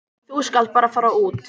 Þú skalt bara fara út.